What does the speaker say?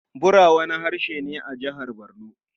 Bura wani harshe ne a Jihar Barno.